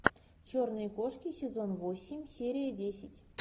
черные кошки сезон восемь серия десять